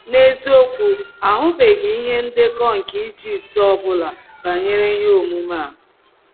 N’eziokwu, a hụbeghị ihe ndekọ nke Ijipt ọ bụla banyere ihe omume a.